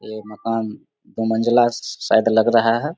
ये मकान दु मंजिला श श शायद लग रहा है।